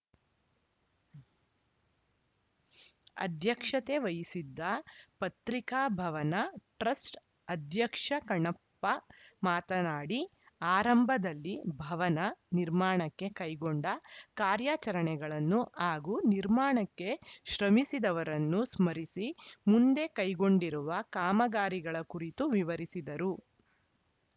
ಅಧ್ಯಕ್ಷತೆ ವಹಿಸಿದ್ದ ಪತ್ರಿಕಾ ಭವನ ಟ್ರಸ್ಟ್‌ ಅಧ್ಯಕ್ಷ ಕಣ್ಣಪ್ಪ ಮಾತನಾಡಿ ಆರಂಭದಲ್ಲಿ ಭವನ ನಿರ್ಮಾಣಕ್ಕೆ ಕೈಗೊಂಡ ಕಾರ್ಯಾಚರಣೆಗಳನ್ನು ಹಾಗೂ ನಿರ್ಮಾಣಕ್ಕೆ ಶ್ರಮಿಸಿದವರನ್ನು ಸ್ಮರಿಸಿ ಮುಂದೆ ಕೈಗೊಂಡಿರುವ ಕಾಮಗಾರಿಗಳ ಕುರಿತು ವಿವರಿಸಿದರು